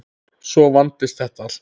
Svo vandist þetta allt.